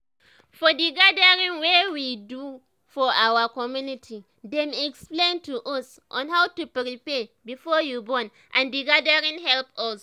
for d gathering wey we do for our community dem explain to us on how to prepare before you born and the gathering help us